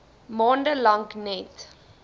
maande lank net